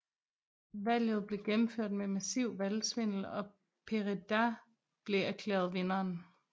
Valget blev gennemført med massiv valgsvindel og Pereda blev erklæret vinderen